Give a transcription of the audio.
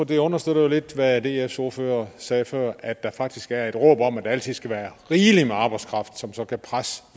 det understøtter jo lidt hvad dfs ordfører sagde før at der faktisk er et råb om at der altid skal være rigeligt med arbejdskraft som så kan presse